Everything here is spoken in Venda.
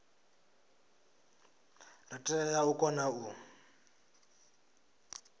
ri tea u kona u